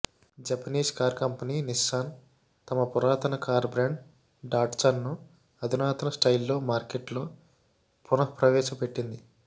Japanese car company Nissan తమ పురాతన car brand డాట్సన్ను అధునాత స్టయిల్తో మార్కెట్లో పునఃప్రవేశపెట్టింది